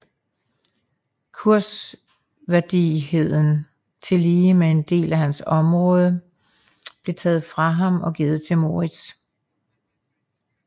Kurværdigheden tillige med en del af hans områder blev taget fra ham og givet til Moritz